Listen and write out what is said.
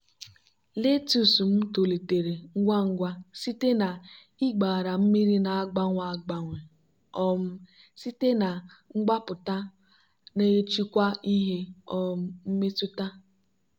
letus m tolitere ngwa ngwa site na ịgbara mmiri na-agbanwe agbanwe um site na mgbapụta na-achịkwa ihe um mmetụta.